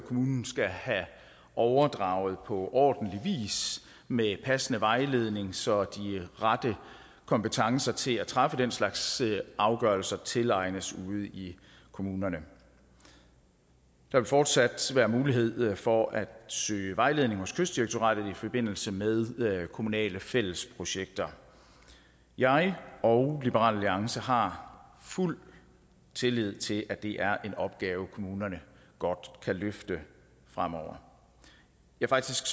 kommunen skal have overdraget på ordentlig vis med passende vejledning så de rette kompetencer til at træffe den slags afgørelser tilegnes ude i kommunerne der vil fortsat være mulighed for at søge vejledning hos kystdirektoratet i forbindelse med kommunale fælles projekter jeg og liberal alliance har fuld tillid til at det er en opgave kommunerne godt kan løfte fremover faktisk